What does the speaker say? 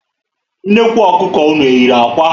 Nnekwu Ọkụkọ ụnụ eyiri ákwà?